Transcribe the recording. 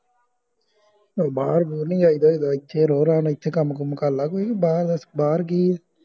ਓ ਬਾਹਰ ਨਹੀਂ ਜਾਈ ਦਾ ਹੋਈ ਦਾ ਇਥੇ ਰਹੋ ਨਾਲੇ ਇਥੇ ਕਾਮ ਕੰਮ ਕਰਲਾ ਤੂੰ ਬਾਹਰ ਕਿ ਆ